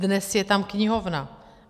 Dnes je tam knihovna.